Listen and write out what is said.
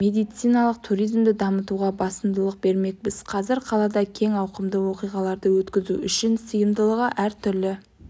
медициналық туризмді дамытуға басымдық бермекпіз қазір астанада кең ауқымды оқиғаларды өткізу үшін сыйымдылығы әр түрлі